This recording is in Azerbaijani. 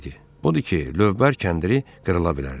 Odur ki, lövbər kəndiri qırıla bilərdi.